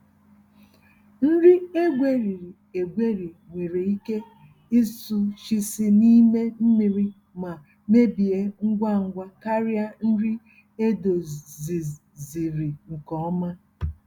Nri egweriri-egweri nwere ike ịsụchisi n'ime mmiri ma mebie ngwa ngwa karịa nri edoziziri nke ọma.